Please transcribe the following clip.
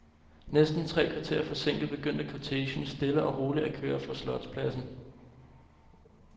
Næsten tre kvarter forsinket, begyndte kortegen stille og roligt at køre fra slotspladsen.